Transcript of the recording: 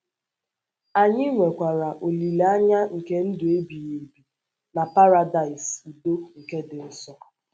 Anyị nwekwara olileanya nke ndụ ebighị ebi na Paradaịs udo nke dị nso.